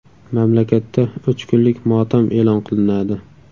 Mamlakatda uch kunlik motam e’lon qilinadi.